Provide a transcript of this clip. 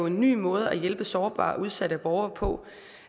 en ny måde at hjælpe sårbare og udsatte borgere på og